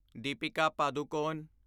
Deepika Padukone